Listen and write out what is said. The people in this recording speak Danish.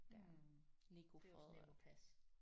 Mh det er også nemt at passe